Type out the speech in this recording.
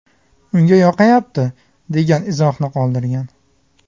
Unga yoqayapti” degan izohni qoldirgan.